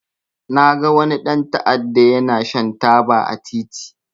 Na ga wani dan ta'adda ya na shan taba a titi